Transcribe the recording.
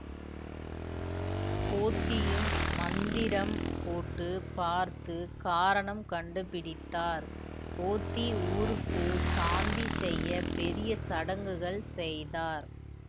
போத்தியும் மந்திரம் போட்டு பார்த்து காரணம் கண்டுபிடித்தார் போத்தி ஊருக்கு சாந்தி செய்ய பெரிய சடங்குகள் செய்தார்